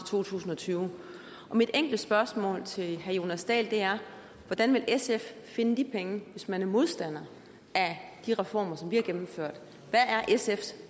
to tusind og tyve og mit enkle spørgsmål til herre jonas dahl er hvordan vil sf finde de penge hvis man er modstander af de reformer som vi har gennemført hvad er sfs